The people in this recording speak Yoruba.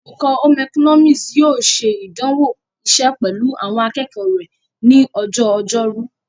Olùkọ́ Home economics yóò ṣe ìdánwò iṣẹ́ pẹ̀lú àwọn akẹ́kọ̀ọ́ rẹ ní ọjọ́ ọjọ́rú.